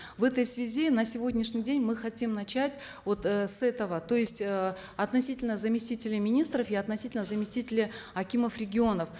в этой связи на сегодняшний день мы хотим начать вот э с этого то есть э относительно заместителей министров и относительно заместителей акимов регионов